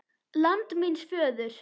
LAND MÍNS FÖÐUR